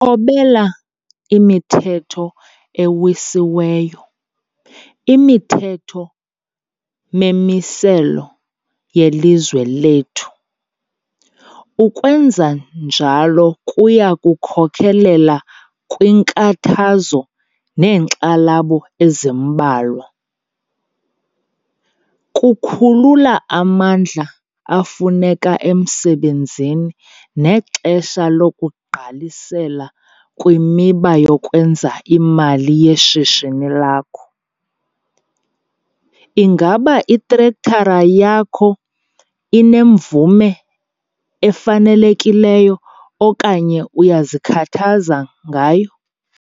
Thobela imithetho ewisiweyo, imithetho memimiselo yelizwe lethu. Ukwenza njalo kuya kukhokelela kwiinkathazo neenkxalabo ezimbalwa. Kukhulula amandla afuneka emsebenzini nexesha lokugqalisela kwimiba yokwenza imali yeshishini lakho. Ingaba itrektara yakho inemvume efanelekileyo okanye uyazikhathaza ngayo?